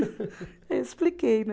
Eu expliquei, né?